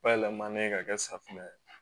Bayɛlɛmanen ka kɛ safunɛ ye